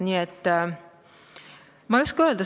Nii et ma ei oska öelda.